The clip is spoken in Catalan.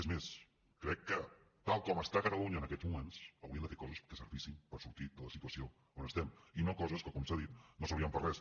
és més crec que tal com està catalunya en aquests moments s’haurien de fer coses que servissin per a sortir de la situació on estem i no coses que com s’ha dit no serviran per a res